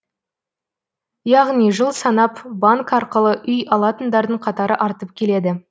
яғни жыл санап банк арқылы үй алатындардың қатары артып келеді